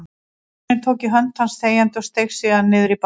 Baróninn tók í hönd hans þegjandi og steig síðan niður í bátinn.